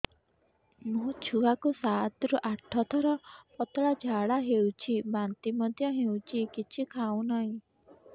ମୋ ଛୁଆ କୁ ସାତ ରୁ ଆଠ ଥର ପତଳା ଝାଡା ହେଉଛି ବାନ୍ତି ମଧ୍ୟ୍ୟ ହେଉଛି କିଛି ଖାଉ ନାହିଁ